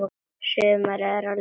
Sumarið er að líða.